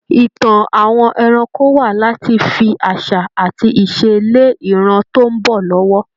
Ìtàn àwọn ẹranko wà láti fi àṣà àti ìṣe lé ìran tó ń bọ̀ lọ́wọ́.